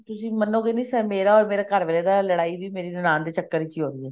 ਤੁਸੀਂ ਮੰਨੋਗੇ ਨੀ ਮੇਰਾ or ਮੇਰੇ ਘਰ ਵਾਲੇ ਦਾ ਲੜਾਈ ਵੀ ਮੇਰੀ ਨਨਾਣ ਦੇ ਚੱਕਰ ਚ ਹੋਈ ਹੈ